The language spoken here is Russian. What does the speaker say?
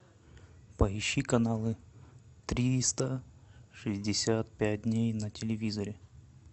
поищи каналы триста шестьдесят пять дней на телевизоре